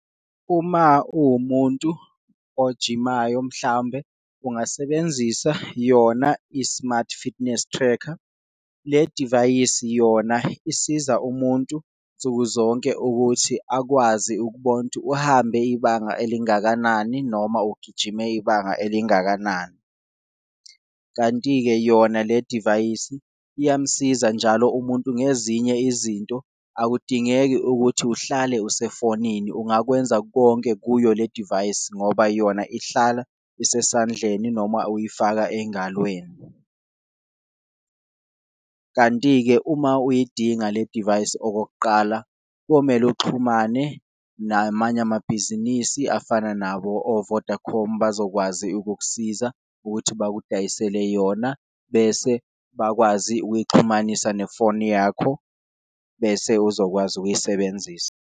Uma uwumuntu ojimayo mhlawumbe ungasebenzisa yona i-smart fitness tracker, le divayisi yona isiza umuntu nsuku zonke ukuthi akwazi ukubona ukuthi uhambe ibanga elingakanani, noma ugijime ibanga elingakanani. Kanti-ke yona le divayisi iyamsiza njalo umuntu ngezinye izinto akudingeki ukuthi uhlale usefonini, ungakwenza konke kuyo le divayisi ngoba yona ihlala isesandleni noma uyifaka engalweni . Kanti-ke uma uyidinga le divayisi okokuqala komele uxhumane namanye amabhizinisi afana nabo o-Vodacom, bazokwazi ukukusiza ukuthi bakudayisele yona bese bakwazi ukuyixhumanisa nefoni yakho, bese uzokwazi ukuyisebenzisa.